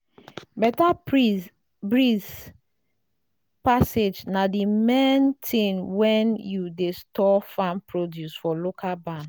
better breeze passage na the main thing when you dey store farm produce for local barn.